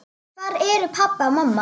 Hvar eru pabbi og mamma?